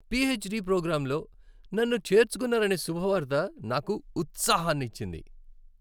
PhD ప్రోగ్రామ్లో నన్ను చేర్చుకున్నారనే శుభవార్త నాకు ఉత్సాహానిచ్చింది.